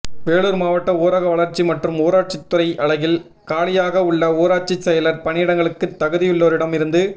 வேலூர் மாவட்ட ஊரக வளா்ச்சி மற்றும் ஊராட்சித் துறை அலகில் காலியாக உள்ள ஊராட்சி செயலர் பணியிடங்களுக்கு தகுதியுள்ளோரிடம் இருந்து